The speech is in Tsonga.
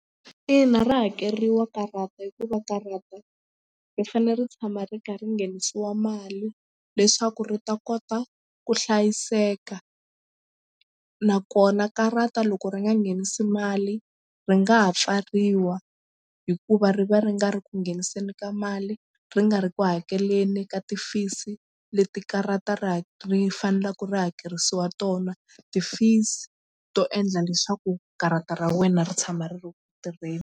Ina ra hakeriwa karata hikuva karata ri fanele ri tshama ri kha ri nghenisiwa mali leswaku ri ta kota ku hlayiseka nakona karata loko ri nga nghenisi mali ri nga ha pfariwa hikuva ri va ri nga ri ku ngheniseni ka mali ri nga ri ku hakeleni ka ti-fees leti karata ra ri faneleke ri hakerisiwa tona ti-fees to endla leswaku karata ra wena ri tshama ri ri ku tirheni.